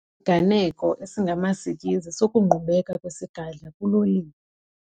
isiganeko esingamasikizi sokungqubeka kwesigadla kuloliwe.